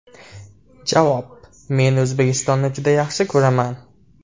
Javob: Men O‘zbekistonni juda yaxshi ko‘raman.